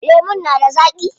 Lemun na da zaaƙi?